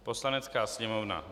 Poslanecká sněmovna